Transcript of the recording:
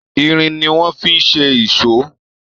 Irin ni wọ́n fi ṣe ìso.